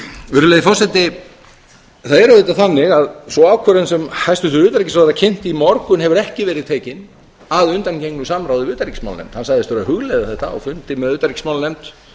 virðulegi forseti það er auðvitað þannig að sú ákvörðun sem hæstvirtur utanríkisráðherra kynnti í morgun hefur ekki verið tekin að undangengnu samráði við utanríkismálanefnd hann sagðist vera að hugleiða þetta á fundi með utanríkismálanefnd